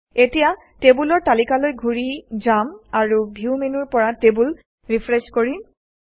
এতিয়া টেবুলৰ তালিকালৈ ঘূৰি যাম আৰু ভিউ মেনুৰ পৰা টেবুল ৰিফ্ৰেছ কৰিম